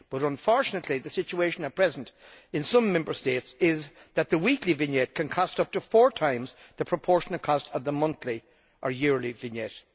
Unfortunately, however, the situation at present in some Member States is that the weekly vignette can cost up to four times the proportionate cost of the monthly or yearly vignette.